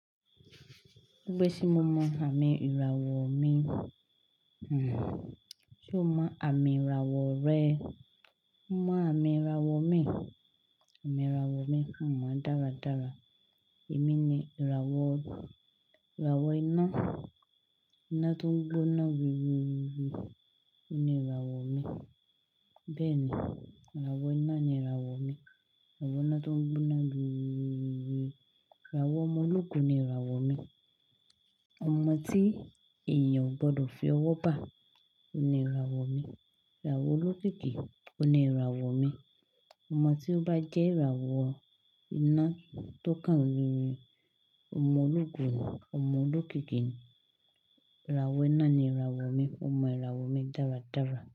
Gbésìí mo mọ àmì ìràwọ̀ mi. Hmmm ṣe o mọ àmì ìràwọ̀ rẹ? Mo mọ àmì ìràwọ̀ mi. Àmì ìràwọ̀ mi, mo mọ dáradára. Èmi ni ìràwọ̀, ìràwọ̀ iná. Iná tó ń gbóná rùn rùn rùn rùn, òní ìràwọ̀ mi. Bẹ́ẹ̀ ni, ìràwọ̀ iná ni ìràwọ̀ mi. Ìràwọ̀ iná tó ń gbóná rùn rùn rùn rùn. Ìràwọ̀ ọmọ ológun ni ìràwọ̀ mi. Ọmọ tí èèyàn ò gbọdọ̀ fi ọwọ́ bà, òní ìràwọ̀ mi. Ìràwọ̀ olókìkí, òní ìràwọ̀ mi. Ọmọ tí ó bá jẹ́ ìràwọ̀ iná tó kàn rìn rìn, ọmọ ológun, ọmọ olókìkí, ìràwọ̀ iná ni ìràwọ̀ mi. Mo mọ ìràwọ̀ mi dáradára.